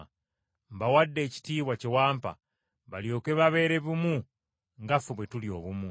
Mbawadde ekitiibwa kye wampa, balyoke babeere bumu nga ffe bwe tuli obumu.